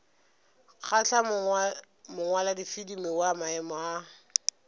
kgahla mongwaladifilimi wa maemo a